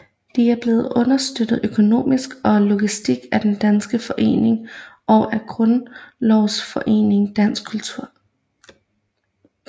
De er blevet understøttet økonomisk og logistisk af Den Danske Forening og af Grundlovsforeningen Dansk Kultur